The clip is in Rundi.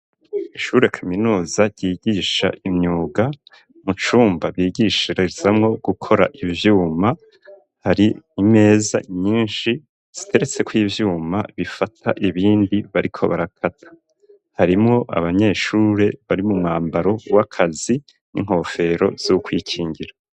Ishure kaminuza ryigisha imyuga mu cumba bigishirizamwo gukora ivyuma hari imeza nyinshi ziteretsekw’ ivyuma bifata ibindi bariko barakata, harimwo abanyeshure bari mu mwambaro w'akazi n'inkofero z'ukwikingira.